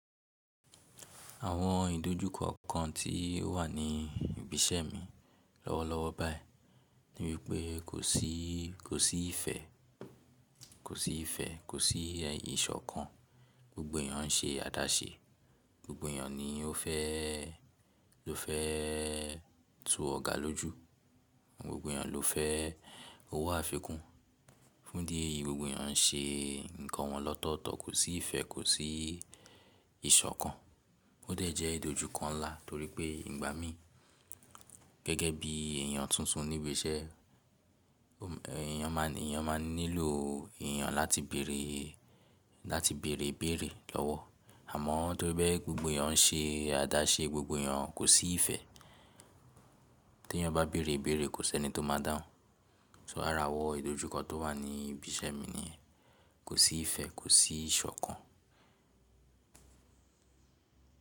Àwọn ìdojúkọ kan tí ó wà ní ibi iṣẹ́ mi lọ́wọ́lọ́wọ́ báyìí ní wípé kò sí, kò sí ifẹ̀, kò sí ifẹ̀, kò sí ìṣọ̀kan, gbogbo èèyàn ń se àdáṣe, gbogbo èèyàn ni ó fẹ́, ló fẹ́ tu ọ̀gá lójú, gbogbo èèyàn ló fẹ́ owó àfikún. Fún di ẹ́ yi gbogbo èèyàn ń se nǹkan wọn lọ́tọ́tọ́, kò sí ifẹ̀, kò sí ìṣọ̀kan. Ó dẹ̀ jẹ́ ìdojúkọ ńlá torí pé ìgbà mí gẹ́gẹ́ bí èèyàn tuntun ní ibi iṣẹ́, èèyàn máa ń, èèyàn máa ń nílò èèyàn láti bèrè, láti bèrèbèrè lọ́wọ́. Àmọ́ torí pé gbogbo èèyàn ń se àdáṣe, gbogbo èèyàn kò sí ifẹ̀, tí èèyàn bá bèrèbèrè kò sí ẹni tó máa dáhùn. So ara wo ìdojúkọ tó wà ní ibi iṣẹ́ mi ni kò sí ifẹ̀, kò sí ìṣọ̀kan.